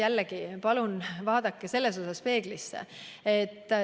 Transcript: Jällegi, palun vaadake peeglisse.